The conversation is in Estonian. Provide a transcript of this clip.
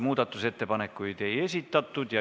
Muudatusettepanekuid ei esitatud.